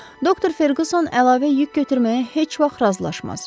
Doktor Ferquson əlavə yük götürməyə heç vaxt razılaşmaz.